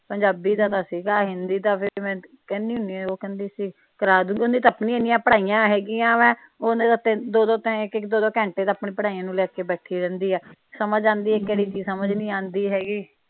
ਪੰਜਾਬੀ ਦਾ ਤਾ ਸੀ ਗਾ ਹਿੰਦੀ ਦਾ ਫਿਰ ਮੈ ਕਹਿਣੀ ਹੁਣੀ ਆ ਉਹ ਕਹਿੰਦੀ ਸੀ ਕਰਾਦੂ ਉਦੀਆਂ ਤਾ ਆਪਣੀਆਂ ਇਹਨੀਂਆ ਪੜ੍ਹਾਈਆ ਹੇਗੀਆਂ ਵਾ ਓਹਨੇ ਤਾ ਦੋ ਦੋ ਘੰਟੇ ਤਾ ਆਪਣੀਆਂ ਪੜ੍ਹਾਈਆ ਨੂੰ ਲੈ ਕੇ ਬੈਠੀ ਰਹਿੰਦੀ ਆ ਸਮਝ ਆਂਦੀ ਆ ਕਿਹੜੀ ਚੀਜ਼ ਸਮਝ ਨਹੀਂ ਆਉਂਦੀ ਹੇਗੀ।